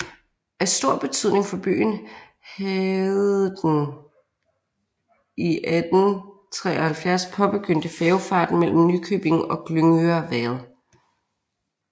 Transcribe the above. Af stor betydning for byen havdeden i 1873 påbegyndte færgefart mellem Nykøbing og Glyngøre været